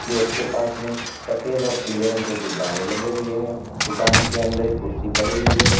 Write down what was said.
Gate के पास में सफेद और पीले रंग के गुब्बाड़ें लगे हुये हैं दुकान के अंदर एक कुर्सी पड़ी हुई है।